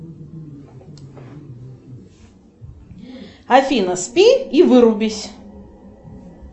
афина спи и вырубись